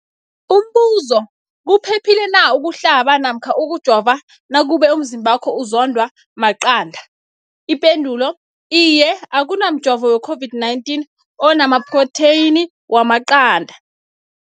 Umbuzo, kuphephile na ukuhlaba namkha ukujova nakube umzimbakho uzondwa maqanda. Ipendulo, Iye. Akuna mjovo we-COVID-19 ona maphrotheyini wamaqanda.